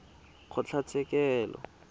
kgotlatshekelo